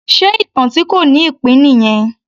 Ṣe ìtàn tí kò ní ìpín nìyẹn?